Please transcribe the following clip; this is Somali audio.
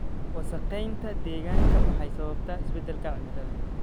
Wasakheynta deegaanka waxay sababtaa isbeddelka cimilada.